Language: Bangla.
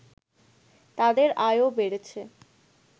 তাদের আয়ও বেড়েছে